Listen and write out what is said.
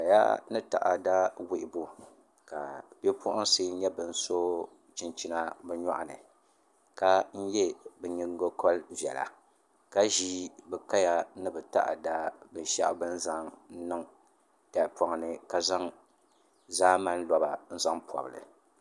Kaya ni taada wuhubu ka bipuɣunsi nyɛ bin so chinchina bi nyoɣani ka yɛ bi nyingokori viɛla ka ʒi bi kaya ni bi taada binshaɣu bi ni zaŋ niŋ tahapoŋ ni ka zaŋ zaamani loba n zaŋ pobili